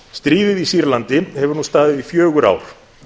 stríðið í sýrlandi hefur nú staðið í fjögur ár